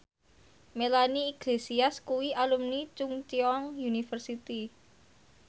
Melanie Iglesias kuwi alumni Chungceong University